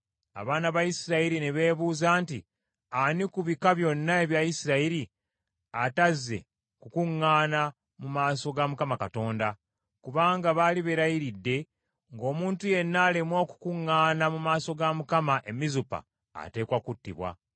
Abaana ba Isirayiri ne beebuuza nti, “Ani ku bika byonna ebya Isirayiri atazze kukuŋŋaana mu maaso ga Mukama Katonda?” Kubanga baali beerayiridde, ng’omuntu yenna alemwa okukuŋŋaana mu maaso ga Mukama e Mizupa, ateekwa kuttibwa.